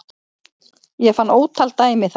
Ég fann ótal dæmi þar